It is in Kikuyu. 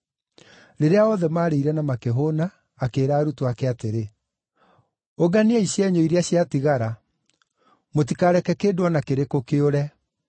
Rĩrĩa othe maarĩire na makĩhũũna, akĩĩra arutwo ake atĩrĩ, “Ũnganiai cienyũ iria ciatigara. Mũtikareke kĩndũ o na kĩrĩkũ kĩũrĩre.”